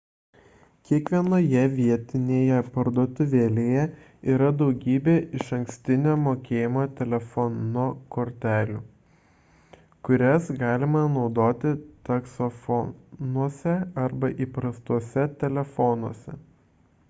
kiekvienoje vietinėje parduotuvėlėje yra daugybė išankstinio mokėjimo telefono kortelių kurias galima naudoti taksofonuose arba įprastuose telefonuose